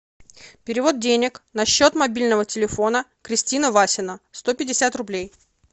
перевод денег на счет мобильного телефона кристина васина сто пятьдесят рублей